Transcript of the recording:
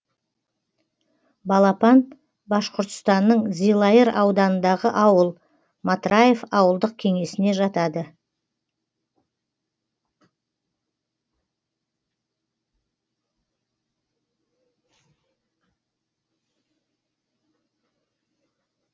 балапан башқұртстанның зилайыр ауданындағы ауыл матраев ауылдық кеңесіне жатады